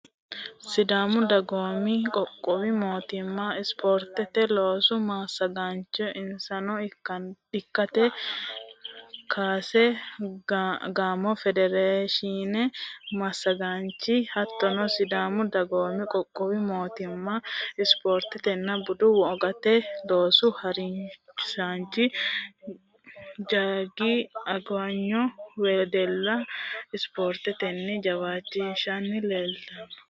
Sidaamu dagoomi qoqqowi mootimma spoortete loosu massagaano insano lekkate kaase gaamo federeeshine massagaanchi hattono sidaamu dagoomi qoqqowi mootimma spoortetenna budu wogate loosu harisaanchi jaggo agenyo wedella spoortetenni jawaachishshanni leeltanno.